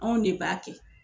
Anw ne b'a kɛ.